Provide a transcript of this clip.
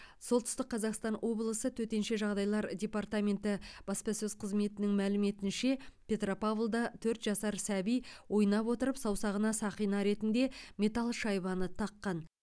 солтүстік қазақстан облысы төтенше жағдайлар департаменті баспасөз қызметінің мәліметінше петропавлда төрт жасар сәби ойнап отырып саусағына сақина ретінде металл шайбаны таққан